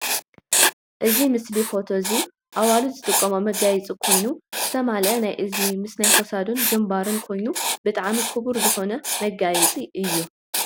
ኣዚ ምስሊ ፎቶ እዚ ኣዋልድ ዝጥቅምኦ መጋየፂ ኮይኑ ዝተማለአ ናይ እዝኒ ምስ ናይ ክሳዱን ግምባርን ኮይኑ ብጣዕሚ ክቡር ዝኮን ምጋይፂ እዩ።